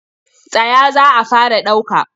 Tsaya za a fara ɗauka!